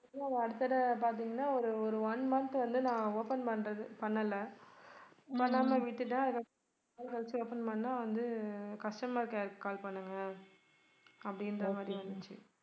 அடுத்த தடவை பாத்தீங்கன்னா ஒரு ஒரு one month வந்து நான் open பண்றது பண்ணல பண்ணாம விட்டுட்டேன் அதுக்கப்புறம் அதுக்கடுத்து open பண்ணா வந்து customer care க்கு call பண்ணுங்க அப்படின்ற மாதிரி வந்துச்சு